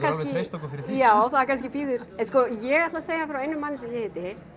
alveg treyst okkur fyrir því já það kannski bíður en ég ætla að segja frá einum manni sem ég hitti